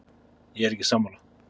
Ég er ekki sammála.